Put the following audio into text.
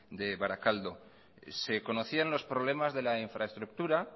de barakaldo se conocían los problemas de la infraestructura